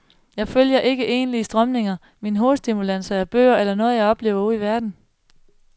Jeg følger ikke egentlige strømninger, mine hovedstimulanser er bøger eller noget, jeg har oplevet ude i verden.